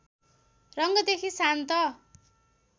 रङदेखि शान्त